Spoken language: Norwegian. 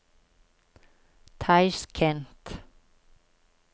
Tasjkent